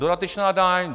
Dodatečná daň.